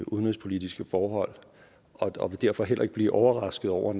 udenrigspolitiske forhold og vil derfor heller ikke vil blive overrasket over